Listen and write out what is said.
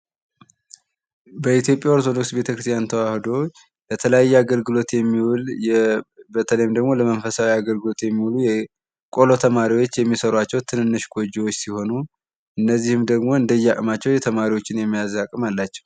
በኢትዮጵያ ኦርቶዶክስ ቤተክርስቲያን ተዋህዶ በተለያየ አገልግሎት የሚውል በተለይም መንፈሳዊ አገልግሎት የሚሉ ቆሎ ተማሪዎች የሚሰሯቸው ትንንሽ ጎጆዎች ሲሆኑ እነዚህ ደግሞ እንደየ አቅማቸው የተማሪዎችን የመያዝ አቅም አላቸው።